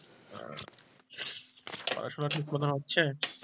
পড়াশুনা ঠিক মতো হচ্ছে?